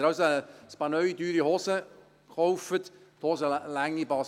Wenn Sie also ein Paar neue, teure Hosen kaufen und die Hosenlänge nicht passt